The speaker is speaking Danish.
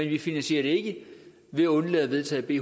ikke finansiere det ved at undlade at vedtage b